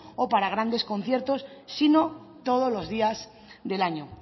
o para grandes conciertos sino todos los días del año